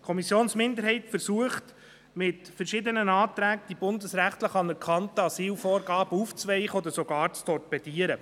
Die Kommissionsminderheit versucht mit verschiedenen Anträgen, die bundesrechtlichen, anerkannten Asylvorgaben aufzuweichen oder sogar zu torpedieren.